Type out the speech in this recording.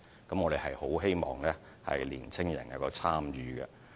我們十分希望年青人能夠積極參與。